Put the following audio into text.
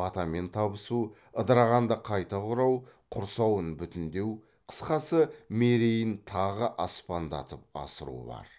батамен табысу ыдырағанды қайта құрау құрсауын бүтіндеу қысқасы мерейін тағы аспандатып асыру бар